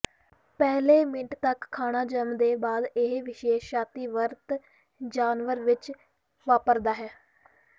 ਪਹਿਲੇ ਮਿੰਟ ਤੱਕ ਖਾਣਾ ਜਨਮ ਦੇ ਬਾਅਦ ਇਹ ਵਿਸ਼ੇਸ਼ ਛਾਤੀ ਵਰਤ ਜਾਨਵਰ ਵਿੱਚ ਵਾਪਰਦਾ ਹੈ